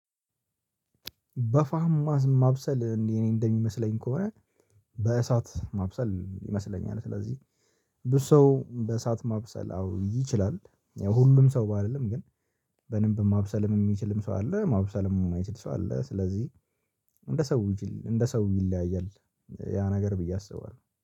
በፏም ማብሰል እንዴ እኔ እንደሚመስለኝ ከሆነ በእሳት ማብሰል ይመስለኛል ስለዚህ ብዙ ሰው በእሳት ማብሰል አዎ ይችላል። ሁሉም ሰው ባልልም ግን በደንብ ማብሰል የሚችልም ሰው አለ ማብሰልም የማይችል ሰው አለ። ስለዚህ እንደ ሰው እንደ ሰው ይለያያል ያ ነገር ብዬ አስባለሁ